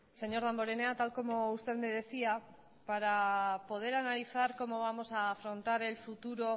señor damborenea tal y como usted me decía para poder analizar cómo vamos a analizar el futuro